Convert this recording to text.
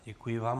Děkuji vám.